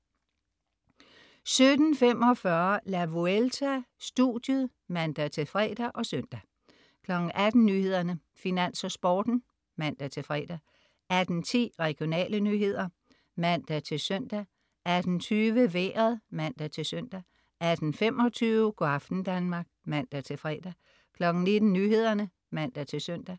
17.45 La Vuelta: Studiet (man-fre og søn) 18.00 Nyhederne, Finans og Sporten (man-fre) 18.10 Regionale nyheder (man-søn) 18.20 Vejret (man-søn) 18.25 Go' aften Danmark (man-fre) 19.00 Nyhederne (man-søn)